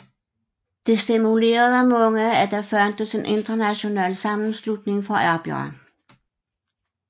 Det stimulerede mange at der fandtes en international sammenslutning for arbejdere